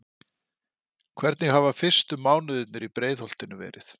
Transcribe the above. Hvernig hafa fyrstu mánuðirnir í Breiðholtinu verið?